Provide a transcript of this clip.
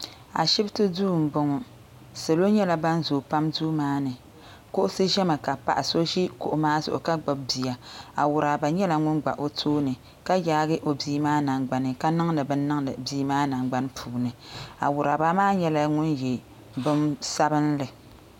Ashibiti duu n bɔŋɔ salo nyɛla bini zoo pam duu maa ni kuɣusi zɛ mi ka paɣa so zi kuɣu maa zuɣu ka gbubi bia awuraba nyɛla ŋuni gba o tooni ka yaagi o bia maa nangbani ka niŋdi bini niŋdi bii maa nangbani puuni awuraba maa nyɛla ŋuni ye bini sabinli.